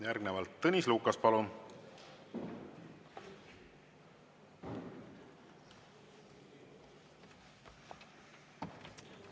Järgnevalt Tõnis Lukas, palun!